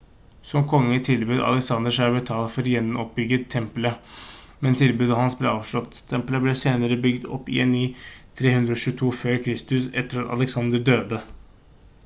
som konge tilbød alexander seg å betale for å gjenoppbygge tempelet men tilbudet hans ble avslått tempelet ble senere bygd opp igjen i 323 f.kr etter at alexander døde